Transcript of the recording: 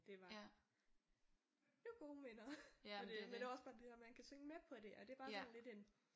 Det var det var gode minder og det men det var også bare det her man kan synge med på det og det er bare sådan lidt en